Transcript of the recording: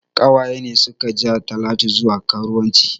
Ƙawaye ne suka ja talatu zuwa karuwanci